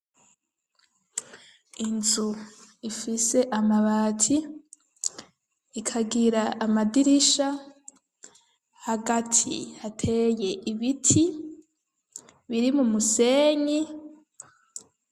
Inzu ifise amabati , ikagira amadirisha, hagati hateye ibiti biri mu musenyi .